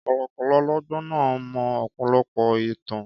Kọ̀lọ̀kọ̀lọ̀ ọlọ́gbọ́n náà mọ ọ̀pọ̀lọpọ̀ ẹ̀tàn.